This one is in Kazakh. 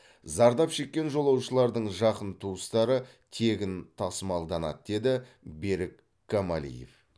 зардап шеккен жолаушылардың жақын туыстары тегін тасымалданады деді берік камалиев